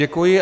Děkuji.